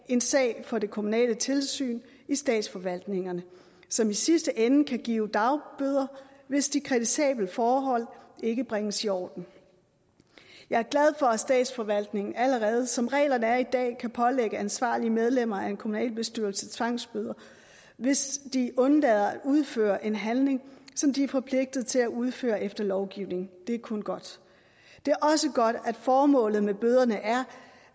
en sag for det kommunale tilsyn i statsforvaltningerne som i sidste ende kan give dagbøder hvis de kritisable forhold ikke bringes i orden jeg er glad for at statsforvaltningen allerede som reglerne er i dag kan pålægge ansvarlige medlemmer af en kommunalbestyrelse tvangsbøder hvis de undlader at udføre en handling som de er forpligtet til at udføre efter lovgivningen det er kun godt det er også godt at formålet med bøderne er